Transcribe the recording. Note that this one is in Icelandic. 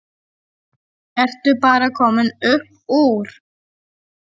Ertu bara komin upp úr?